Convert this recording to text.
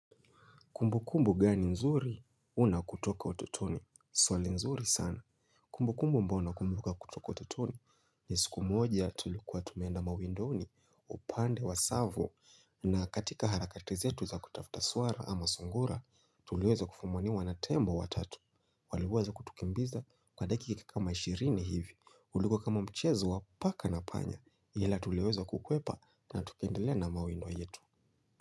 Kumbukumbu gani nzuri, unakutoka utotoni, swali nzuri sana. Kumbukumbu mbao unakumbuka kutoka ototoni ni siku moja tulikuwa tumeenda mawindoni upande wa tsavo. Na katika harakati zetu za kutafuta suara ama sungura tulioza kufumwaniwa na tembo wa tatu. Walivuaza kutukimbiza kwa dakika kama ishirini hivi uliko kama mchezo wa paka na panya hila tulioza kukwepa na tukendile na mawindow yetu Muzika.